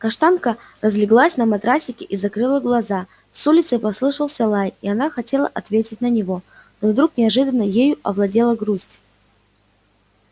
каштанка разлеглась на матрасике и закрыла глаза с улицы послышался лай и она хотела ответить на него но вдруг неожиданно ею овладела грусть